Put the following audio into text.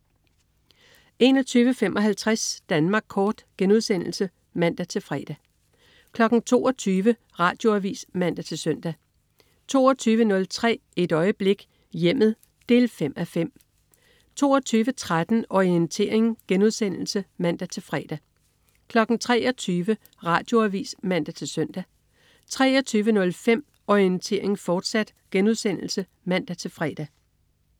21.55 Danmark Kort* (man-fre) 22.00 Radioavis (man-søn) 22.03 Et øjeblik: Hjemmet 5:5 22.13 Orientering* (man-fre) 23.00 Radioavis (man-søn) 23.05 Orientering, fortsat* (man-fre)